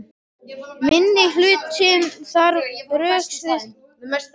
Minnihlutinn þarf að rökstyðja sitt mál, meirihlutinn ræður.